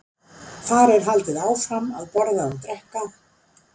Þar er haldið áfram að borða og drekka.